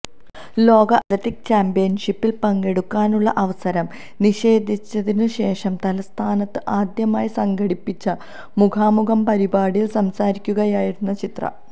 ലോക അത്ലറ്റിക്ക് ചാമ്പ്യന്ഷിപ്പില് പങ്കെടുക്കാനുള്ള അവസരം നിഷേധിച്ചതിനുശേഷം തലസ്ഥാനത്ത് ആദ്യമായി സംഘടിപ്പിച്ച മുഖാമുഖം പരിപാടിയില് സംസാരിക്കുകയായിരുന്നു ചിത്ര